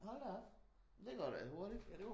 Hold da op det går da hurtigt